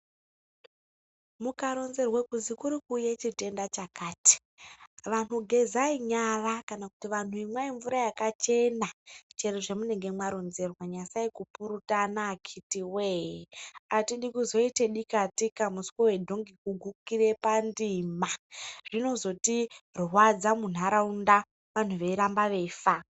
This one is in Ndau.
Mukaronzerwe kuzi kuri kuuye chitenda chakati anyu gezai nyara kana kumwe mvura yakachena chero zvemunenge mwaronzerwa nyasai kupurutana akiti woye atidi kuzoite dika tika muswe wedhoki kugukire pandima zvinozotirwadza muntaraunda anhu veiramba veifa.